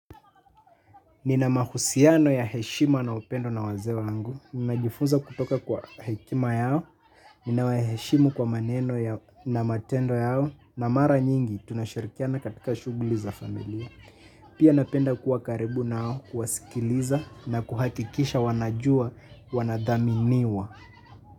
Nina mahusiano ya heshima na upendo na wazee wangu. Ninajifunza kutoka kwa hekima yao. Ninawaheshimu kwa maneno na matendo yao. Na mara nyingi tunashirikiana katika shughuli za familia. Pia napenda kuwa karibu nao, kuwasikiliza na kuhakikisha wanajua, wanadhaminiwa.